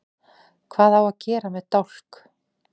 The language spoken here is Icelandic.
Hvað á að gera með dálk?